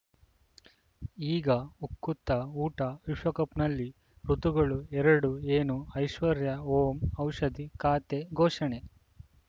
ಈಗ ಉಕುತ ಊಟ ವಿಶ್ವಕಪ್‌ನಲ್ಲಿ ಋತುಗಳು ಎರಡು ಏನು ಐಶ್ವರ್ಯಾ ಓಂ ಔಷಧಿ ಖಾತೆ ಘೋಷಣೆ